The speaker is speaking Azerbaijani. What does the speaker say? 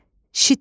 Şitil,